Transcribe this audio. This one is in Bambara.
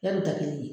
Yarɔ da kelen